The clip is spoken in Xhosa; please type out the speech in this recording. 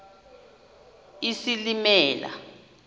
isilimela